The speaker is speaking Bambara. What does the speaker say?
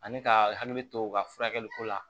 Ani ka hakili to u ka furakɛli ko la